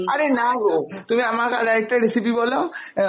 আরে না গো তুমি আমাকে তাহলে আরেকটা recipe বলো, আহ